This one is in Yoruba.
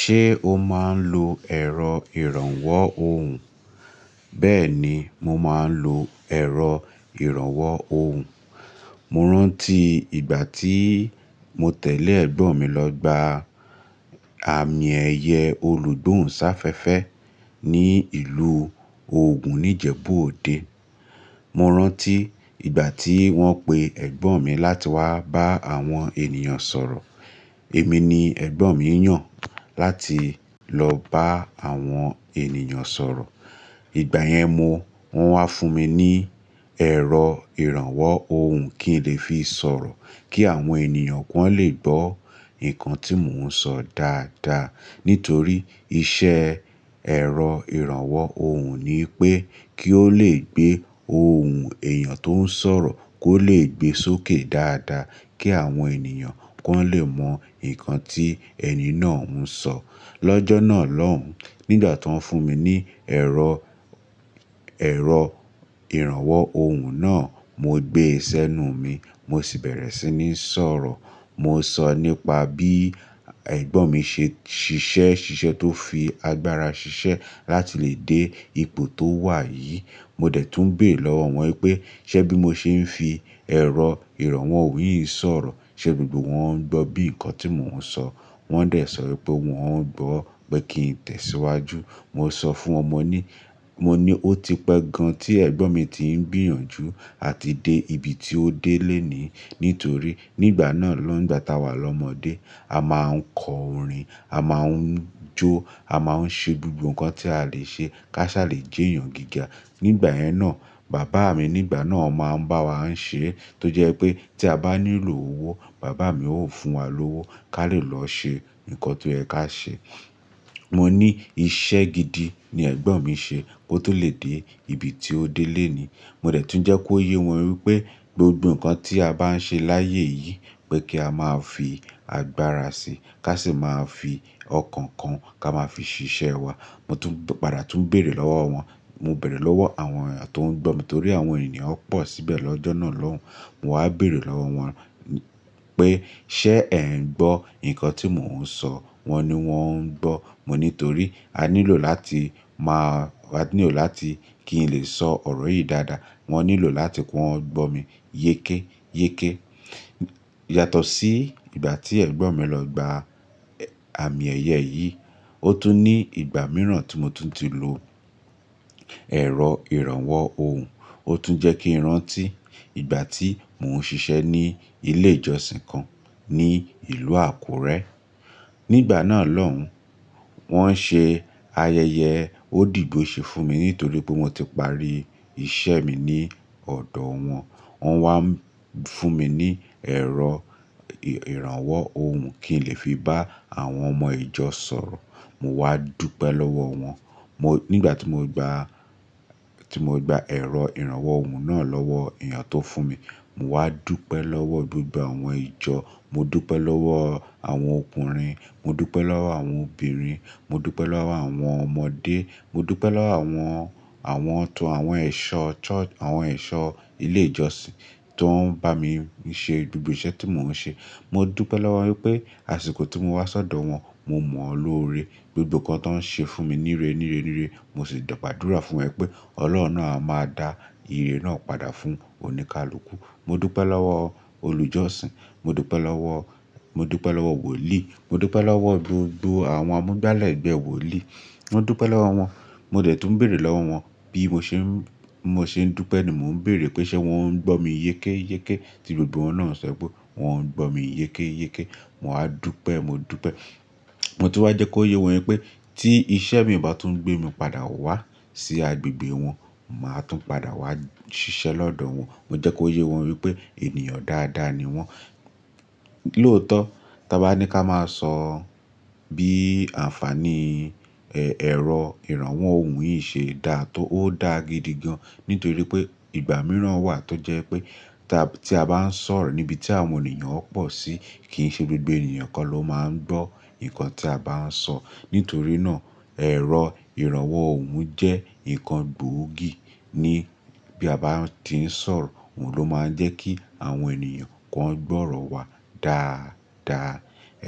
Ṣé o máa ń lo ẹ̀rọ ìrànwọ́ ohùn? Bẹ́ẹ̀ ni, mo máa ń lo ẹ̀rọ ìrànwọ́ ohùn. Mo rántí ìgbà tí mo tẹ̀lé ẹ̀gbọ́n mi lọ gba àmì ẹ̀yẹ olùdún ṣáfẹ́fẹ́ ní ìlú Ògùn ní Ìjẹ̀bú Òde. Mo rántí ìgbà tí wọ́n pe ẹ̀gbọ́n mi láti wá bá àwọn ènìyàn sọ̀rọ̀. Èmi ni ẹ̀gbọ́n mi yàn láti lọ bá àwọn ènìyàn sọ̀rọ̀. Ìgbà yẹn mo, wọ́n wá fún mi ní ẹ̀rọ ìrànwọ́ ohùn kí n lè fi sọ̀rọ̀ kí àwọn ènìyàn kún lè gbọ́ nǹkan tí mò ń sọ dáadáa. Nítorí iṣẹ́ ẹ̀rọ ìrànwọ́ ohùn ni pé kí ó lè gbé ohùn èèyàn tó ń sọ̀rọ̀ kó lè gbe sókè dáadáa kí àwọn ènìyàn kàn lè mọ nǹkan tí ẹni náà ń sọ. Lọ́jọ́ náà lóhùn, nígbà tó ń fún mi ní ẹ̀rọ, ẹ̀rọ ìrànwọ́ ohùn náà, mo gbé e sẹ́nu mi, mo sì bẹ̀rẹ̀ sí ní sọ̀rọ̀. Mo sọ nípa bí ẹ̀gbọ́n mi ṣe ṣiṣẹ́ ṣiṣẹ́ tó fi agbára ṣiṣẹ́ láti lè dé ipò tó wà yìí. Mo dẹ̀ tún béèrè lọ́wọ́ wọn pé, ṣé bí mo ṣe ń fi ẹ̀rọ ìrànwọ́ òhùn yìí sọ̀rọ̀, ṣe gbogbo wọn ń gbọ́ bí nǹkan tí mò ń sọ? Wọ́n dẹ̀ sọ wípé wọ́n ń gbọ́, pé kí n tẹ̀síwájú. Mo sọ fún ọmọ ní, mo ní ó ti pẹ́ gan tí ẹ̀gbọ́n mi ti ń gbìyànjú àti dé ibi tí ó dé lónìí. Nítorí nígbà náà lóhùn, nígbà tá wà lọ́mọdé, a máa ń kọ orin, a máa ń jó, a máa ń ṣe gbogbo nǹkan tí a lè ṣe káṣá lè jẹ èèyàn gíga. Nígbà yẹn náà, bàbá mi nígbà náà máa ń bá wa ń ṣe é tó jẹ́ pé tí a bá nílò owó, bàbá mi ó fún wa lówó ká lè lọ ṣe nǹkan tó yẹ ká ṣe. Mo ní iṣẹ́ gidi ni ẹ̀gbọ́n mi ṣe kó tó lè dé ibi tí ó dé lónìí. Mo dẹ̀ tún jẹ́ kó yé wọn wípé gbogbo nǹkan tí a bá ń ṣe láyé yìí pé kí a máa fi agbára sí, ká sì máa fi ọkàn kan ká máa fi ṣiṣẹ́ wa. Mo tún padà tún béèrè lọ́wọ́ wọn. Mo bẹ̀rẹ̀ lọ́wọ́ àwọn èèyàn tó ń gbọ́ mi nítorí àwọn ènìyàn pọ̀ síbẹ̀ lọ́jọ́ náà lóhùn. Mo wá béèrè lọ́wọ́ wọn pé ṣé ẹ̀ ń gbọ́ nǹkan tí mò ń sọ? Wọn ní wọ́n ń gbọ́. Mo ní nítorí a nílò láti máa, a nílò láti kí n lè sọ ọ̀rọ̀ yìí dáadáa. Wọn nílò láti kí wọ́n gbọ́ mi yéké yéké. Yàtọ̀ sí ìgbà tí ẹ̀gbọ́n mi lọ gba àmì ẹ̀yẹ yìí, ó tún ní ìgbà mìíràn tí mo tún ti lo ẹ̀rọ ìrànwọ́ ohùn. Ó tún jẹ́ kí n rántí ìgbà tí mò ń ṣiṣẹ́ ní ilé ìjọsìn kan ní ìlú Àkúrẹ́. Nígbà náà lóhùn, wọ́n ṣe ayẹyẹ òdìbò ṣe fún mi nítorí pé mo ti parí iṣẹ́ mi ní ọ̀dọ̀ wọn. Wọ́n wá fún mi ní ẹ̀rọ ìrànwọ́ ohùn kí n lè fi bá àwọn ọmọ ìjọ sọ̀rọ̀. Mo wá dúpẹ́ lọ́wọ́ wọn. Mo, nígbà tí mo gba, tí mo gba ẹ̀rọ ìrànwọ́ ohùn náà lọ́wọ́ èèyàn tó fún mi, mo wá dúpẹ́ lọ́wọ́ gbogbo àwọn ìjọ. Mo dúpẹ́ lọ́wọ́ àwọn ọkùnrin, mo dúpẹ́ lọ́wọ́ àwọn obìnrin, mo dúpẹ́ lọ́wọ́ àwọn ọmọdé, mo dúpẹ́ lọ́wọ́ àwọn, àwọn tó àwọn ẹ̀ṣọ́ church, àwọn ẹ̀ṣọ́ ilé ìjọsìn tó ń bá mi ṣe gbogbo iṣẹ́ tí mò ń ṣe. Mo dúpẹ́ lọ́wọ́ wípé àsìkò tí mo wá sí ọ̀dọ̀ wọn, mo mọ̀ ọ́n lóore, gbogbo nǹkan tó ń ṣe fún mi níre níre níre. Mo sì dọ̀pàdúra fún ẹ pé Ọlọ́run náà a máa dá ìre náà padà fún oníkálukú. Mo dúpẹ́ lọ́wọ́ olùjọ́sìn, mo dúpẹ́ lọ́wọ́, mo dúpẹ́ lọ́wọ́ wòlíì, mo dúpẹ́ lọ́wọ́ gbogbo àwọn amúgbálẹ̀ ẹgbẹ́ wòlíì. Mo dúpẹ́ lọ́wọ́ wọn. Mo dẹ̀ tún béèrè lọ́wọ́ wọn bí mo ṣe ń, mo ṣe ń dúpẹ́ ni mò ń béèrè pé ṣé wọn ń gbọ́ mi yéké yéké tí gbogbo wọn náà ṣẹ pé wọn ń gbọ́ mi yéké yéké. Mo wá dúpẹ́, mo dúpẹ́. Mo tún wá jẹ́ kó yé wọn wípé tí iṣẹ́ mi ò bá tún gbé mi padà wá sí agbègbè wọn, màá tún padà wá ṣiṣẹ́ lọ́dọ̀ wọn. Mo jẹ́ kó yé wọn wípé ènìyàn dáadáa ni wọ́n. Lóòótọ́, tí a bá ní ká máa sọ bí àǹfàní ẹ̀, ẹ̀rọ ìrànwọ́ òhùn yìí ṣe dá, tó ó dá gidi gan. Nítorí pé ìgbà mìíràn wà tó jẹ́ pé tá, tí a bá ń sọ̀rọ̀ níbi tí àwọn ènìyàn pọ̀ sí, kì í ṣe gbogbo ènìyàn kó ló máa ń gbọ́ nǹkan tí a bá ń sọ. Nítorí náà ẹ̀rọ ìrànwọ́ òhùn jẹ́ nǹkan gbóògì ní bí a bá ti ń sọ̀rọ̀, òun ló máa ń jẹ́ kí àwọn ènìyàn kún gbọ́rọ̀ wa dáadáa.